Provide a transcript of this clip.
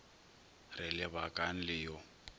re le bakang le yo